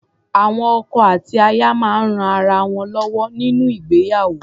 Awọn ọkọ àti àti aya máa ń rán ara wọn lọ́wọ́ nínú ìgbéyàwó.